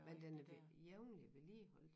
Men den er blevet jævnlig vedligeholdt